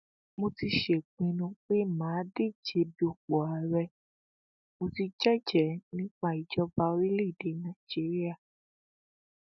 mo ti sèpinnu pé mà á díje dupò ààrẹ mò ti jẹjẹẹ nípa ìjọba orílẹèdè nàíjíríà